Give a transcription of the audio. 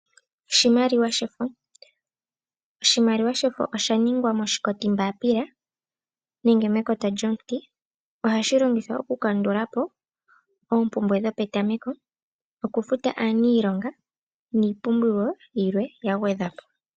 Oshimaliwa shefo, oshimaliwa shefo osha ningwa moshikoti mbaapila nenge mekota lyomuti. Ohashi longithwa oku kandulapo oompumbwe dho petameko , noku futa aaniilonga niipumbiwa yilwe ya gwedhwapo.